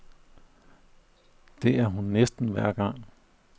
Det er hun næsten hver gang.